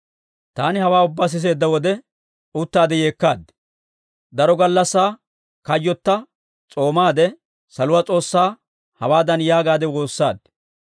Taani hawaa ubbaa siseedda wode uttaade yeekkaad. Daro gallassaa kayyotta s'oomaadde, saluwaa S'oossaa, hawaadan yaagaadde woossaad;